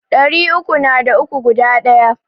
Ɗari uku na da uku guda Ɗaya.